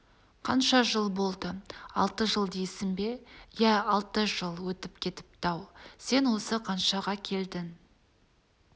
қанша жыл болды алты жыл дейсің бе иә алты жыл өтіп кетіпті-ау сен осы қаншаға келдің